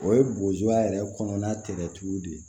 O ye bozuya yɛrɛ kɔnɔna tɛgɛtigiw de ye